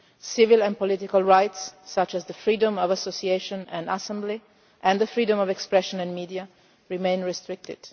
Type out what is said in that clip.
Civil and political rights, such as freedom of association and assembly and freedom of expression and media, remain restricted.